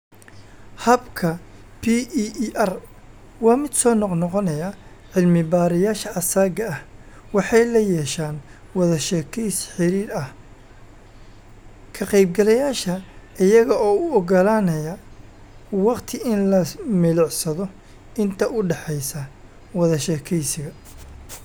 Habka PEER waa mid soo noqnoqonaya - cilmi-baarayaasha asaagga ah waxay la yeeshaan wada-sheekeysi xiriir ah ka qaybgalayaasha, iyaga oo u oggolaanaya waqti in la milicsado inta u dhaxaysa wada sheekaysiga.